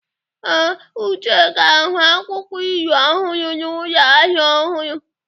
Ee, Uche ga-ahụ akwụkwọ ilu ọhụrụ n'ụlọ ahịa ọhụrụ